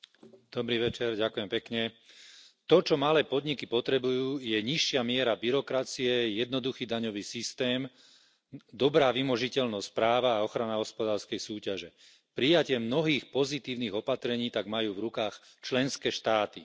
Vážený pán predsedajúci, to, čo malé podniky potrebujú, je nižšia miera byrokracie, jednoduchý daňový systém, dobrá vymožiteľnosť práva a ochrana hospodárskej súťaže. Prijatie mnohých pozitívnych opatrení tak majú v rukách členské štáty.